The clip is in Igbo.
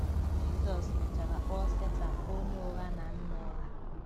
Jizọs mechara kpọọ Setan “onye ụgha na nna ụgha.”